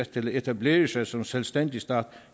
til at etablere sig som selvstændig stat